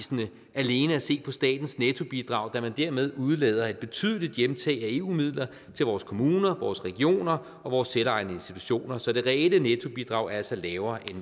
alene at se på statens nettobidrag da man dermed udelader et betydeligt hjemtag af eu midler til vores kommuner vores regioner og vores selvejende institutioner så det reelle nettobidrag er altså lavere